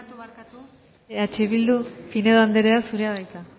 ai eh bildu barkatu barkatu eh bildu pinedo anderea zurea da hitza